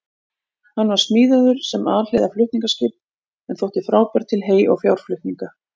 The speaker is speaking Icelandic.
Hann var smíðaður sem alhliða flutningaskip en þótti frábær til hey- og fjárflutninga.